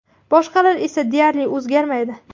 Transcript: Boshqalar esa deyarli o‘zgarmaydi.